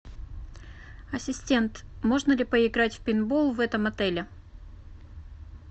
ассистент можно ли поиграть в пейнтбол в этом отеле